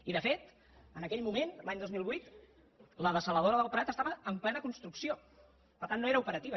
i de fet en aquell moment l’any dos mil vuit la dessaladora del prat estava en plena construcció per tant no era operativa